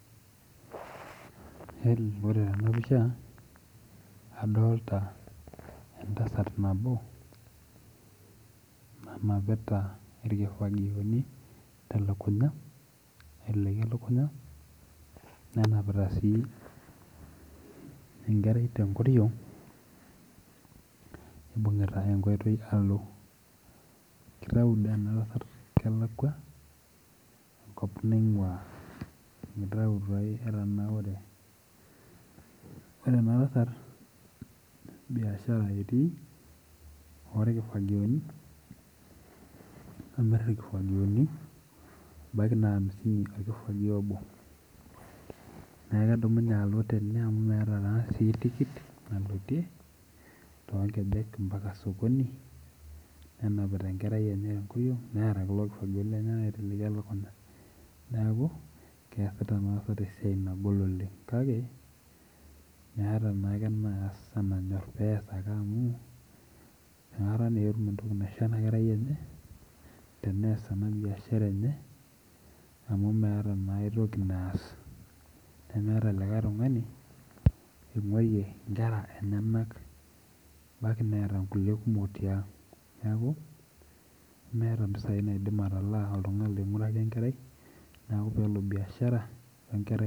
Ore tenaoisha adolta entasat nabo nanapita irkifagioni aiteleki elunya nenapita si enkerai tenkoriong nibungita enkoitoi alo kitau enatasat kelakwa enkop naingua kitau etanaure ore enatasat biashara etii irkifagioni amir irkifagioni ebaki na amisini orkifagio obo neaku kedumunue alo tene amu meeta tikit nalotie tonkejek ambaka osokoni ne emapita enkerai enye tenkoriongneeta kulo kifagioni lenyenak aiteleki elukunya neaku keasita enatasat esiai nagol oleng kake meeta ake enanyor amu nakata na etum entoki naisho inakerai enye teneas enabiashara enye amu meeta aitoki naas nemeeta likae tunganu otungayie nkera enyenak ebaki neeta nkulie kera tiang neaku meeta mpisai naidim atalaa oltungani oingiuraki enkerai neaku pelo biashara enkerai.